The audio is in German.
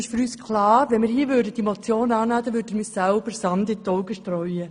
Für uns ist klar, dass wir uns Sand in die Augen streuten, würden wir diese Motion annehmen.